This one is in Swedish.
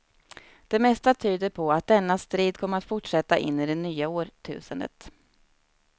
Det mesta tyder på att denna strid kommer att fortsätta in i det nya årtusendet.